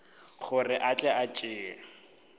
gore a tle a tšee